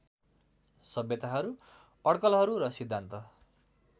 सभ्यताहरू अडकलहरू र सिद्धान्त